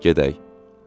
Gedək.